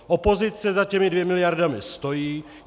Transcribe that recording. Opozice za těmi dvěma miliardami stojí.